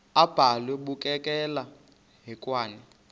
abhalwe bukekela hekwane